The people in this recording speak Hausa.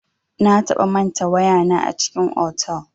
Na taɓa manta waya na a cikin otal.